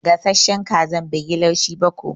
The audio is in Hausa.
Gasashen kazan bai yi laushi ba ko.